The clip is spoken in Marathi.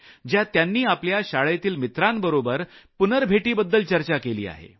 ज्यात त्यांनी आपल्या शाळेतील मित्रांबरोबर पुनर्भेटीबद्दल चर्चा केली आहे